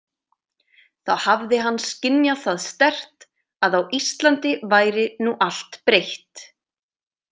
Þá hafði hann skynjað það sterkt að á Íslandi væri nú allt breytt.